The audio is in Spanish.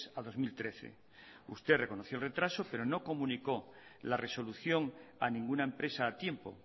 a dos mil trece usted reconoció el retraso pero no comunicó la resolución a ninguna empresa a tiempo